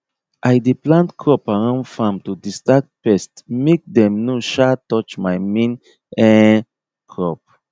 i dey plant crop around farm to distract pest make dem no um touch my main um crop